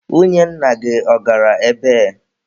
Nwunye nna gị, ọ gara ebee?